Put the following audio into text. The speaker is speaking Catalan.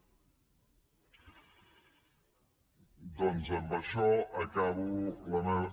doncs amb això acabo la meva